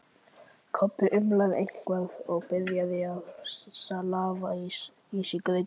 Kobbi umlaði eitthvað og byrjaði að slafra í sig grautinn.